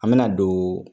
An me na don